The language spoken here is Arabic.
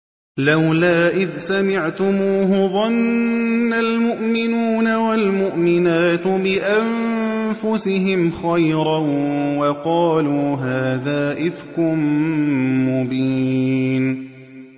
لَّوْلَا إِذْ سَمِعْتُمُوهُ ظَنَّ الْمُؤْمِنُونَ وَالْمُؤْمِنَاتُ بِأَنفُسِهِمْ خَيْرًا وَقَالُوا هَٰذَا إِفْكٌ مُّبِينٌ